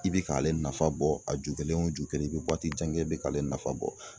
I bɛ k'ale nafa bɔ a ju kelen o ju kelen i bɛ waati jan kɛ i bɛ k'ale nafa bɔ.